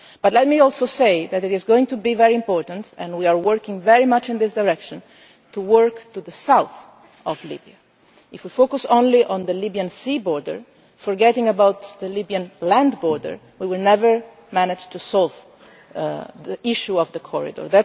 Let me say too that it is going to be very important and we are looking very much in this direction to work to the south of Libya. If we focus only on the Libyan sea border, forgetting about the Libyan land border, we will never manage to solve the issue of the corridor.